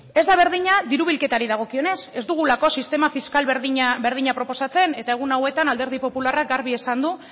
ez da berdina diru bilketari dagokionez ez dugulako sistema fiskal berdina proposatzen eta egun hauetan alderdi popularrak garbi esan du